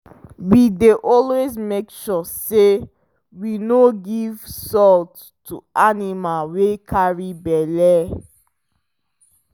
we dey always make sure say we no give salt to animal wy carry belle